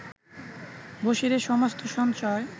বসিরের সমস্ত সঞ্চয়